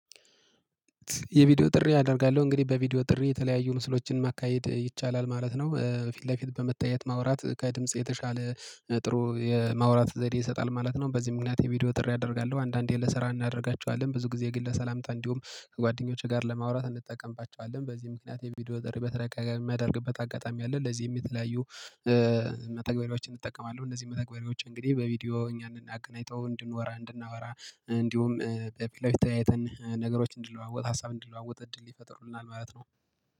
የቪዲዮ ጥሪ አደርጋለሁ እንግዲህ በቪዲዮ ጥሪ የተለያዩ ምስሎችን ማካሄድ ይቻላል ማለት ነው። ፊት ለፊት በመታየት ማውራት ከድምጽ የተሻለ ጥሩ የማውራት ዘዴ ይሰጣል ማለት ነው። በዚህ ምክንያት የቪዲዮ ጥሪ አደርጋለሁ። አንዳንዴ ልሰራ እናደርጋቸዋለን ብዙ ጊዜ ግን ለሰላምታ እንዲሁም ከጓደኞቼ ጋር ለማውራት እንጠቀምባቸዋለን። በዚህ ምክንያት የቪዲዮ ጥሪ በተደጋጋሚ የማደርግበት አጋጣሚ አለ። ለዚህም የተለያዩ መተግበሪያዎችን እጠቀማለሁ። እነዚህ መተግበሪያዎች እንግዲህ በቪዲዮ እኛን እገናኝተው እንድናወራ። እንዲሁም በፊት ለፊት ተያይተን ነገሮችን እንድለዋወጥ ሀሳብ እንድለዋወጥ እድል ይፈጥሩልናል ማለት ነው